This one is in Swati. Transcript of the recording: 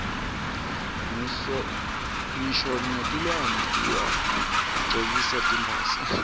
ngisho netilwane tiyagcokiswa timphahla